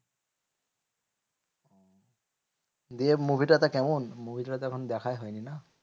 দিয়ে movie টা তো কেমন? movie টা তো এখন দেখাই হয়নি না?